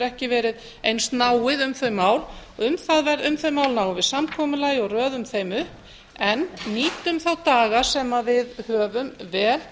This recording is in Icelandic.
ekki verið eins náið um þau mál um þau mál náum við samkomulagi og röðum þeim upp en nýtum þá daga sem við höfum vel